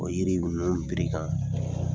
O yiri ninnu piri kan